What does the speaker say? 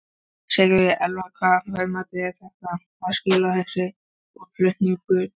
Sigríður Elva: Hvaða verðmætum er þetta að skila, þessi útflutningur?